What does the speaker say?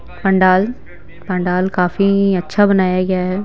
पंडाल पंडाल काफी अच्छा बनाया गया है।